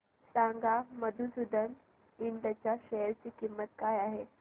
सांगा मधुसूदन इंड च्या शेअर ची किंमत काय आहे